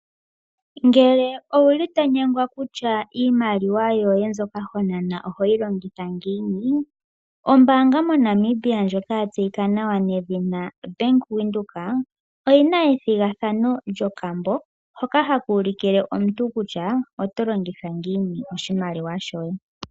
Ngele owu li to nyengwa kutya iimaliwa yoye mbyoka ho nana oho yi longitha ngiini, ombaanga moNamibia ndjoka ya tseyika nawa nedhina Bank Windhoek oyi na ethigathano lyokambo hoka haka ulukile omuntu kutya oto longitha ngiini oshimaliwa shoye.